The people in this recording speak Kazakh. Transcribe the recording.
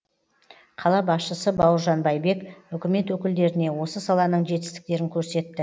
қала басшысы бауыржан байбек үкімет өкілдеріне осы саланың жетістіктерін көрсетті